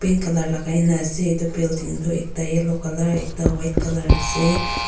Pink colour lagaina ase etu building tuh ekta yellow colour ekta white colour ase--